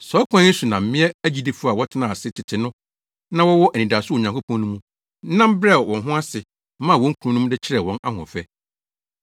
Saa ɔkwan yi so na mmea agyidifo a wɔtenaa ase tete no a na wɔwɔ anidaso wɔ Onyankopɔn mu no nam brɛɛ wɔn ho ase maa wɔn kununom de kyerɛɛ wɔn ahoɔfɛ.